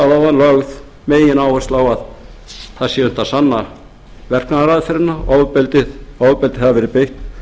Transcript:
og ég sagði áðan er lögð megináhersla á að það sé hægt að sanna verknaðaraðferðina að ofbeldi hafi verið beitt